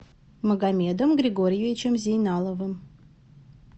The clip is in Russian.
магомедом григорьевичем зейналовым